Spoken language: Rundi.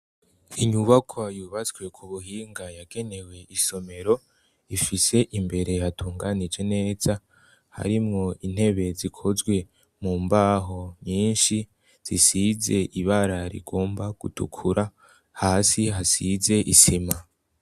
Inyubako yubatswe ku buhinga yagenewe isomero ifise imbere hatunganije neza harimwo intebe zikozwe mu mbaho nyinshi zisize ibara rigomba gutukura hasi hasize isima.